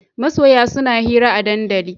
Masoya suna hira a dandali